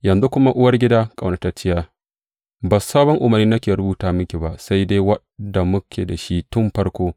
Yanzu kuma, uwargida ƙaunatacciya, ba sabon umarni nake rubuta miki ba sai dai wanda muke da shi tun farko.